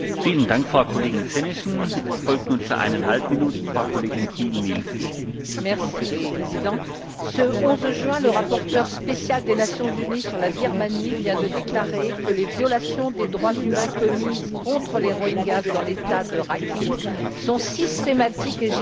Monsieur le Président, ce 11 juin, le rapporteur spécial des Nations unies sur la Birmanie a déclaré que les violations des droits humains commises contre les Rohingyas dans l'État de Rakhine sont systématiques et généralisées et que les auteurs des crimes continuent de bénéficier d'une totale impunité.